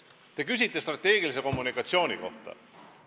Te küsite strateegilise kommunikatsiooni kohta.